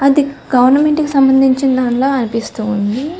అది ప్రభుత్వం కి సంబందించిన ధనిలా అనిపిస్తు ఉంది.